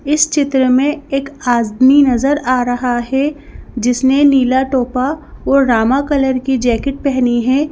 इस चित्र में एक आदमी नजर आ रहा है जिसने नीला टोपा और रामा कलर की जैकेट पहनी है।